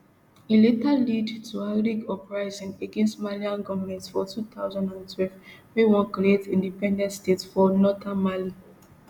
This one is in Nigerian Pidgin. e later lead tuareg uprisings against malian goment for two thousand and twelve wey wan create independent state for northern mali